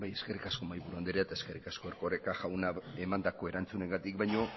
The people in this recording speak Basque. eskerrik asko mahaiburu andrea eta eskerrik asko erkoreka jauna emandako erantzunengatik baino